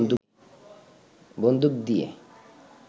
বন্দুক দিয়ে